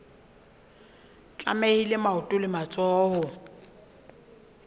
tlamehile maoto le matsoho ho